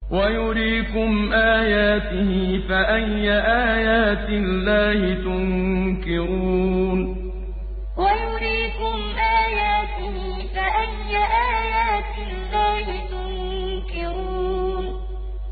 وَيُرِيكُمْ آيَاتِهِ فَأَيَّ آيَاتِ اللَّهِ تُنكِرُونَ وَيُرِيكُمْ آيَاتِهِ فَأَيَّ آيَاتِ اللَّهِ تُنكِرُونَ